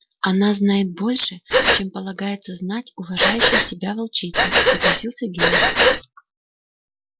она знает больше чем полагается знать уважающей себя волчице согласился генри